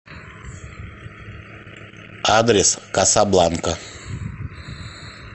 адрес касабланка